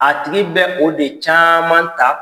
A tigi bɛ o de caman ta.